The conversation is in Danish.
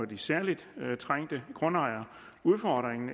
de særlig trængte grundejere udfordringen